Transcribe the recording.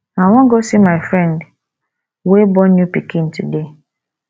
i wan go see my friend wey born new pikin today